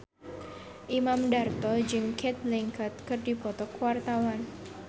Imam Darto jeung Cate Blanchett keur dipoto ku wartawan